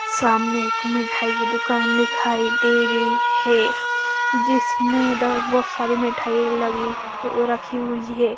सामने एक मिठाई की दुकान दिखाई दे रही है जिसमें इधर बहुत सारी मिठाई लगी हु रखी हुई हैं।